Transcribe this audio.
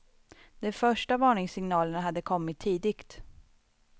De första varningssignalerna hade kommit tidigt.